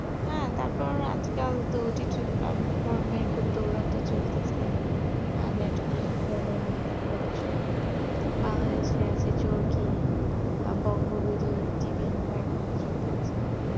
হ্যাঁ তারপর আজকে এ খুব দৌড়াতে চলতেছে আহ OTT platform বোলো তারপরে হচ্ছে netflix এ আছে চরকি বংগো BD মনে হয় এরুম কিছু একটা আছে